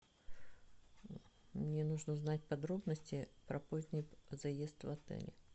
мне нужно знать подробности про поздний заезд в отеле